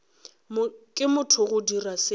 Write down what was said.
ke motho go dira seo